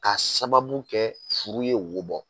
Ka sababu kɛ furu ye wo bɔ